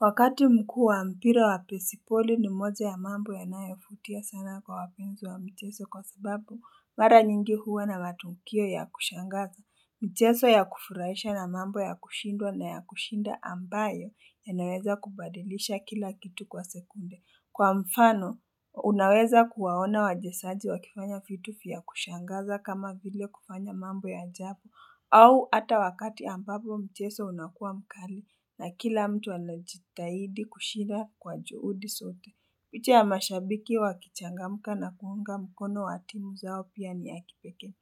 Wakati mkuu wa mpira wa pesipoli ni moja ya mambo yanayofutia sana kwa wapenzi wa mcheso kwa sababu, mara nyingi huwa na matukio ya kushangaza. Mcheso ya kufurahisha na mambo ya kushindwa na ya kushinda ambayo yanaweza kubadilisha kila kitu kwa sekunde. Kwa mfano, unaweza kuwaona wachezaji wakifanya vitu vya kushangaza kama vile kufanya mambo ya ajabu au ata wakati ambapo mcheso unakua mkali na kila mtu anajitahidi kushida kwa juhudi zote. Uche ya mashabiki wakichangamka na kuunga mkono wa timu zao pia ni ya kipekee.